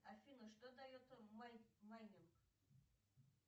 афина что дает майнинг